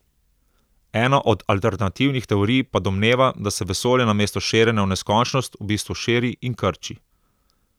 Ena od alternativnih teorij pa domneva, da se vesolje namesto širjenja v neskončnost v bistvu širi in krči.